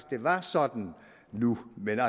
det var sådan nu men